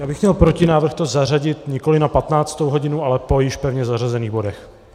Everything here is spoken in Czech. Já bych měl protinávrh to zařadit nikoliv na 15. hodinu, ale po již pevně zařazených bodech.